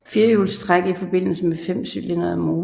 Firehjulstræk i forbindelse med femcylindrede motorer